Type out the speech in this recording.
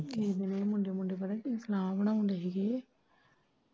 ਮੁੰਡੇ ਮਾਡੇ ਪਤਾ ਕੀ ਸਲਾਹ ਬਨਾਉਣ ਦੇ ਹੀਗੇ।